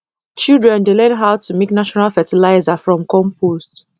children dey learn how to make natural fertilizer from compost